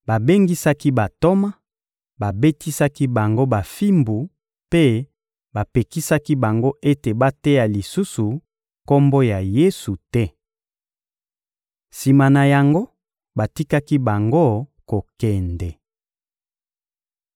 babengisaki bantoma, babetisaki bango bafimbu mpe bapekisaki bango ete bateya lisusu Kombo ya Yesu te. Sima na yango batikaki bango kokende.